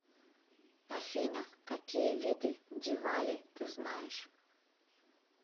афина какие виды дивали ты знаешь